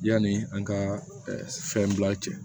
Yanni an ka fɛn bila cɛ